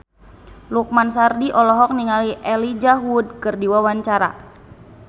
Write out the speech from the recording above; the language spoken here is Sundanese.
Lukman Sardi olohok ningali Elijah Wood keur diwawancara